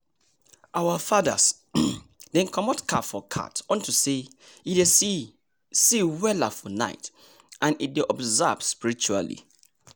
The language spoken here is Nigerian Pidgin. our fathers dem comot cap for cat unto say e dey see see weller for night and e dey observe spiritually